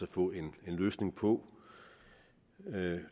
få en løsning på